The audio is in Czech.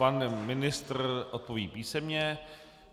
Pan ministr odpoví písemně.